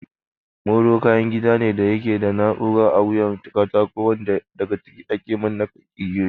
Molo kayan kiɗa ne da yake da na'urar a wuyan katako wanda daga ciki ake manne igiyoyin.